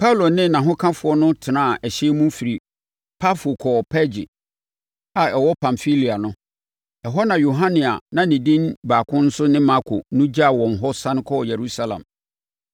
Paulo ne nʼahokafoɔ no tenaa ɛhyɛn mu firii Pafo kɔɔ Perge a ɛwɔ Pamfilia no; ɛhɔ na Yohane a ne din baako nso ne Marko no gyaa wɔn hɔ sane kɔɔ Yerusalem.